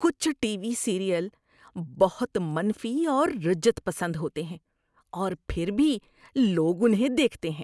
کچھ TV serial بہت منفی اور رجعت پسند ہوتے ہیں اور پھر بھی لوگ انہیں دیکھتے ہیں۔